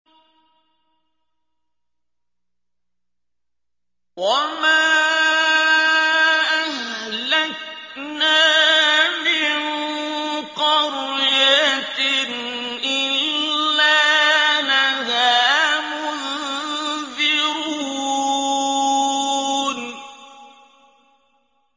وَمَا أَهْلَكْنَا مِن قَرْيَةٍ إِلَّا لَهَا مُنذِرُونَ